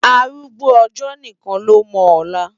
Árúgbó òjò nikán ló mò òlá